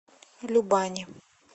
любани